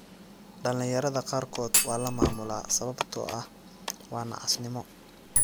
Dhallinyarada qaarkood waa la maamulaa sababtoo ah waa nacasnimo.